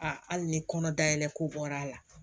A hali ni kɔnɔ dayɛlɛ ko bɔr'a la